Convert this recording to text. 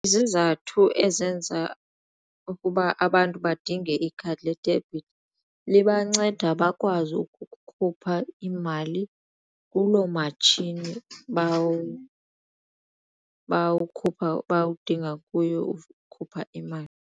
Izizathu ezenza ukuba abantu badinge ikhadi ledebhithi libanceda bakwazi ukukhupha imali kuloo matshini bawudinga kuyo ukukhupha imali.